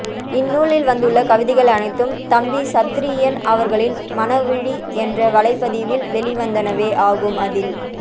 இந்நூலில் வந்துள்ள கவிதைகள் அனைத்தும் தம்பி சத்திரியன் அவர்களின் மனவிழி என்ற வலைப்பதிவில் வெளிவந்தனவே ஆகும் அதில்